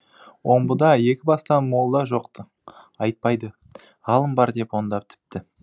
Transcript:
омбыда екі бастан молда жоқ ты айтпайды ғалым бар деп онда тіпті